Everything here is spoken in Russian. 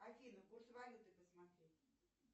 афина курс валюты посмотреть